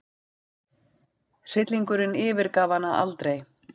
Hryllingurinn yfirgaf hana aldrei.